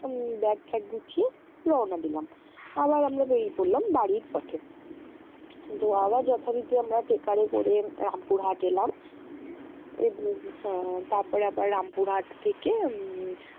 উম bag ঠ্যাগ গুছি রওনা দিলাম। আবার আমরা বেরিয়ে পড়লাম বাড়ির পথে। তো আবার যথারীতি আমরা taker এ করে রামপুর হাট এলাম এবং হ্যা তারপরে আবার রামপুর হাট থেকে উম